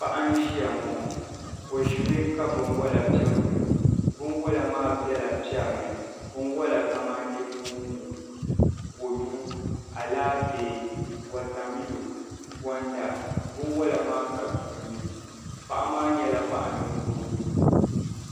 Paɣa n-ʒiya ŋɔ o ʒimi ka binwala pe n-gili o binwala maa bela piɛri ni binwala kamani moongu kɔdu alaafee watamilo gɔnda binwala maa ka tuuni paɣa maa nyɛla paɣ’ ninkurigu